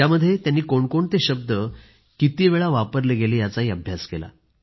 त्यामध्ये त्यांनी कोणते शब्द कितीवेळा वापरले गेले याचा अभ्यास केला